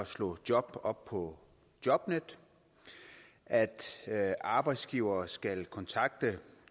slå job op på jobnet at at arbejdsgivere skal kontakte